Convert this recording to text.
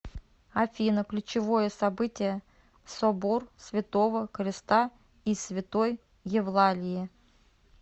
афина ключевое событие собор святого креста и святой евлалии